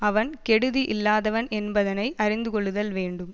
அவன் கெடுதி இல்லாதவன் என்பதனை அறிந்து கொள்ளுதல் வேண்டும்